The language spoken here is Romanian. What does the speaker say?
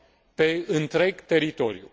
pe întreg teritoriul.